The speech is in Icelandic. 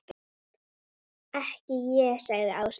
Ekki ég sagði Áslaug.